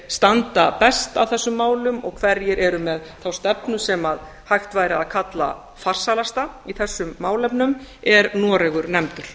standi best að þessum málum og hverjir eru með þá stefnu sem hægt væri að kalla farsælasta í þessum málefnum er noregur nefndur